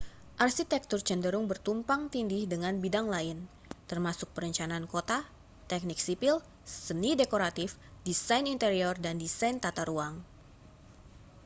arsitektur cenderung bertumpang-tindih dengan bidang lain termasuk perencanaan kota teknik sipil seni dekoratif desain interior dan desain tata ruang